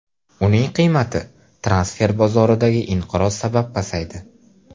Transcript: Uning qiymati transfer bozoridagi inqiroz sabab pasaydi.